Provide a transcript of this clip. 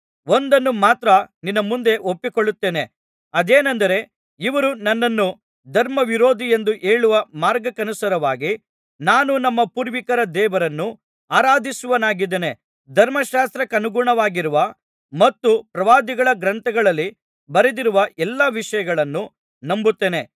ಒಂದನ್ನು ಮಾತ್ರ ನಿನ್ನ ಮುಂದೆ ಒಪ್ಪಿಕೊಳ್ಳುತ್ತೇನೆ ಅದೇನೆಂದರೆ ಇವರು ನನ್ನನ್ನು ಧರ್ಮವಿರೋಧಿ ಎಂದೂ ಹೇಳುವ ಮಾರ್ಗಕ್ಕನುಸಾರವಾಗಿ ನಾನು ನಮ್ಮ ಪೂರ್ವಿಕರ ದೇವರನ್ನು ಆರಾಧಿಸುವವನಾಗಿದ್ದೇನೆ ಧರ್ಮಶಾಸ್ತ್ರಕ್ಕನುಗುಣವಾಗಿರುವ ಮತ್ತು ಪ್ರವಾದಿಗಳ ಗ್ರಂಥಗಳಲ್ಲಿ ಬರೆದಿರುವ ಎಲ್ಲಾ ವಿಷಯಗಳನ್ನು ನಂಬುತ್ತೇನೆ